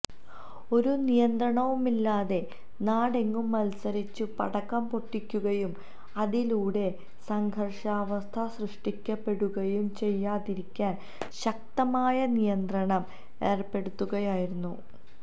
ഒരു നിയന്ത്രണവുമില്ലാതെ നാടെങ്ങും മത്സരിച്ചു പടക്കംപൊട്ടിക്കുകയും അതിലൂടെ സംഘര്ഷാവസ്ഥ സൃഷ്ടിക്കപ്പെടുകയും ചെയ്യാതിരിക്കാന് ശക്തമായ നിയന്ത്രണം ഏര്പ്പെടുത്തുകയായിരുന്നു